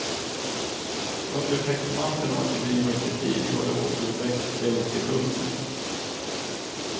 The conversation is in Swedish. Under täckmanteln av att bedriva kritik har de återuppväckt hjältekulten.